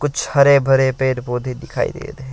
कुछ हरे भरे पेड़ पौधे दिखाई दे रहे हैं।